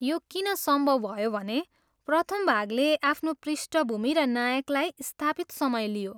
यो किन सम्भव भयो भने प्रथम भागले आफ्नो पृष्ठभूमि र नायकलाई स्थापित समय लियो।